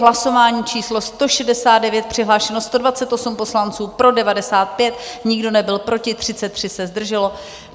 Hlasování číslo 169, přihlášeno 128 poslanců, pro 95, nikdo nebyl proti, 33 se zdrželo.